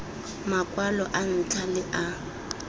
makwalo a ntlha le a